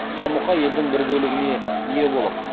жамұқа елдің бір бөлігіне ие болып